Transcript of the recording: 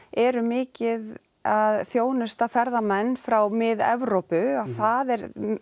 eru mikið að þjónusta ferðamenn frá Mið Evrópu að það er